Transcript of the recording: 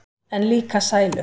En líka sælu.